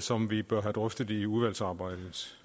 som vi bør have drøftet i udvalgsarbejdet